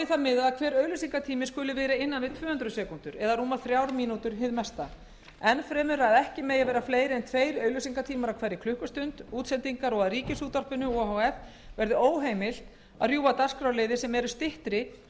að hver auglýsingatími skuli vera innan við tvö hundruð sekúndur eða rúmar þrjár mínútur hið mesta enn fremur að ekki megi vera fleiri en tveir auglýsingatímar á hverri klukkustund útsendingar og að ríkisútvarpinu o h f verði óheimilt að rjúfa dagskrárliði sem eru styttri